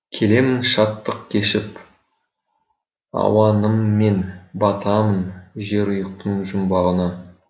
келемін шаттық кешіп ауаныммен батамын жерұйықтың жұмбағына